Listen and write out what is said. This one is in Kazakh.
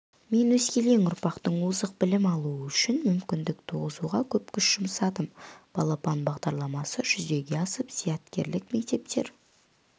мен өскелең ұрпақтың озық білім алуы үшін мүмкіндік туғызуға көп күш жұмсадым балапан бағдарламасы жүзеге асып зияткерлік мектептер